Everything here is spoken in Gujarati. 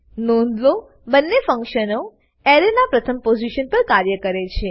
નોંધ લો બંને ફ્ન્ક્શનો એરેના પ્રથમ પોઝીશન પર કાર્ય કરે છે